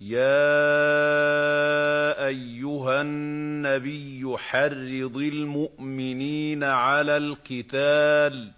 يَا أَيُّهَا النَّبِيُّ حَرِّضِ الْمُؤْمِنِينَ عَلَى الْقِتَالِ ۚ